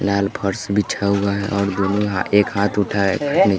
लाल फर्श बिछा हुआ है और दुनो हाथ एक हाथ उठा हैं अपनी--